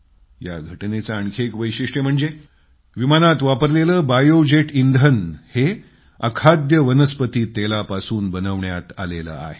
या घटनेचं आणखी एक वैशिष्ट्य म्हणजे विमानात वापरलेलं बायोजेट इंधन हे झाडांच्या अखाद्य तेलापासून बनवण्यात आलेलं आहे